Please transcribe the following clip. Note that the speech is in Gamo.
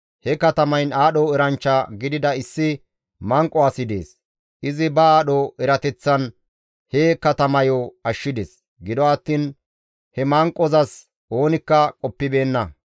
He katamayn aadho eranchcha gidida issi manqo asi dees; izi ba aadho erateththan he katamayo ashshides. Gido attiin he manqozas oonikka qoppibeenna.